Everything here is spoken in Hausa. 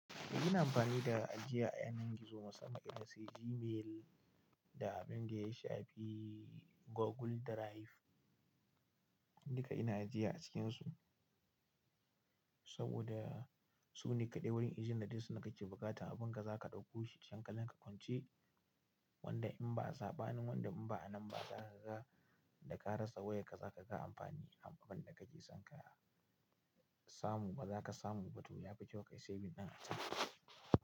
Ina amfani da ajiya a yanar gizo, musamman irinsu Gmail da abinda yashafi Google Drive. Duka ina ajiya a cikinsu saboda sune kaɗai wurin izinin da kake bukatan abinka zaka ɗauko shi, hankalinka kwance. Wanda inba a zabanin wanda inba a nan ba, zakaga da ka rasa wayarka, zakaga amfani. Amfanin da kake son ka samu bazaka samu ba to yafi kyau kayi saving ɗin a can.